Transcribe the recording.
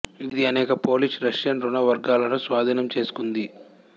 ఇది అనేక Polish Russian రుణ వర్గాలను స్వాధీనం చేసుకుంది